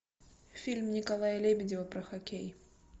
фильм николая лебедева про хоккей